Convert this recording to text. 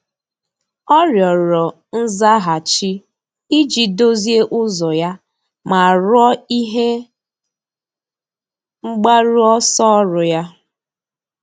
Ọ́ rịọ̀rọ̀ nzaghachi iji dòzìé ụ́zọ́ ya ma rúó ihe mgbaru ọsọ ọ́rụ́ ya.